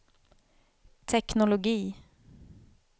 teknologi